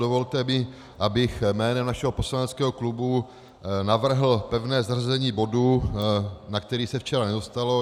Dovolte mi, abych jménem našeho poslaneckého klubu navrhl pevné zařazení bodu, na který se včera nedostalo.